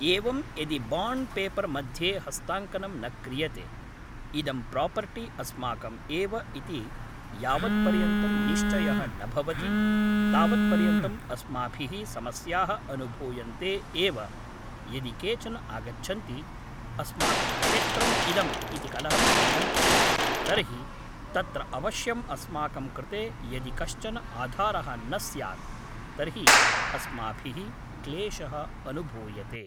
एवं यदि bond paper मध्ये हस्ताङ्कनं न क्रियते इदं प्रापर्टि अस्माकम् एव इति यावत्पर्यन्तं निश्चयः न भवति तावत्पर्यन्तम् अस्माभिः समस्याः अनुभूयन्ते एव यदि केचन आगच्छन्ति अस्माकं क्षेत्रम् इदम् इति कलहं कुर्वन्ति तर्हि तत्र अवश्यं अस्माकं कृते यदि कश्चन आधारः न स्यात् तर्हि अस्माभिः क्लेशः अनुभूयते